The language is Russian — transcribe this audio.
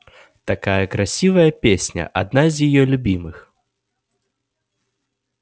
такая красивая песня одна из её любимых